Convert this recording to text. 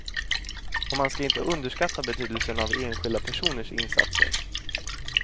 Och man ska inte underskatta betydelsen av enskilda personers insatser.